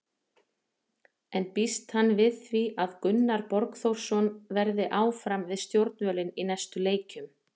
En býst hann við því að Gunnar Borgþórsson verði áfram við stjórnvölinn í næstu leikjum?